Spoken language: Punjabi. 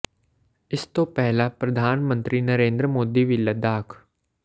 ਇਸ ਤੋਂ ਪਹਿਲਾਂ ਪ੍ਰਧਾਨ ਮੰਤਰੀ ਨਰਿੰਦਰ ਮੋਦੀ ਵੀ ਲੱਦਾਖ